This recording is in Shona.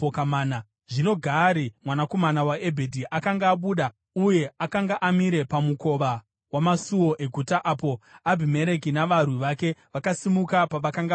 Zvino Gaari mwanakomana waEbhedhi akanga abuda uye akanga amire pamukova wamasuo eguta apo Abhimereki navarwi vake vakasimuka pavakanga vakavanda.